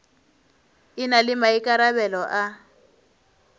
e na le maikarabelo a